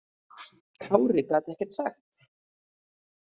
Kári gat ekkert sagt.